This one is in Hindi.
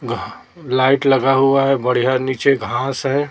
घा लाइट लगा हुआ है बढ़िया नीचे घास है।